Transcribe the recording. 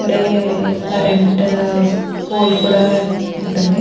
ఇక్కడే current pole కూడా ఉంటుంద.